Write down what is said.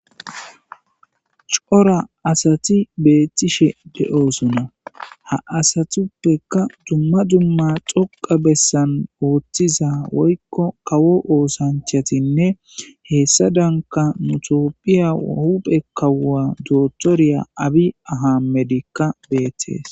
Coora asati beettishe de'osonna ha asatuppeka dumma dumma xoqa bessan ooththiza woyikko kawo oosanchatinne heessa danka mutoophiya huphe kawua dootoriya abi aha medikka beetees